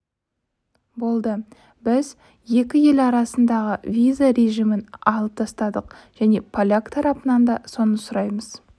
болды біз екі ел арасындағы виза режимін алып тастадық және поляк тарапынан да соны сұраймыз